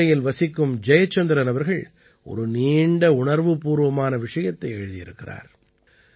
மதுரையில் வசிக்கும் ஜயச்சந்திரன் அவர்கள் ஒரு நீண்ட உணர்வுப்பூர்வமான விஷயத்தை எழுதியிருக்கிறார்